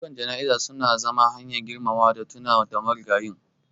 Ayyukan jana'iza su na zama hanyar girmamawa da tunawa da marigayin.